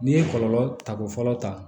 N'i ye kɔlɔlɔ ta ko fɔlɔ ta